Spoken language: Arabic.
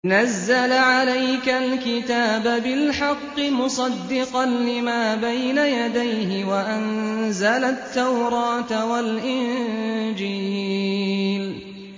نَزَّلَ عَلَيْكَ الْكِتَابَ بِالْحَقِّ مُصَدِّقًا لِّمَا بَيْنَ يَدَيْهِ وَأَنزَلَ التَّوْرَاةَ وَالْإِنجِيلَ